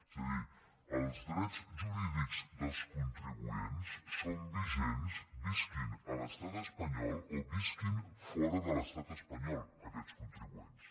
és a dir els drets jurídics dels contribuents són vigents visquin a l’estat espanyol o visquin fora de l’estat espanyol aquests contribuents